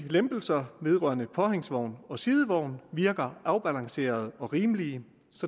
lempelserne vedrørende påhængsvogn og sidevogn virker afbalancerede og rimelige